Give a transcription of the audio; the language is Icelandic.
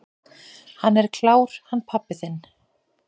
"""Hann er klár, hann pabbi þinn."""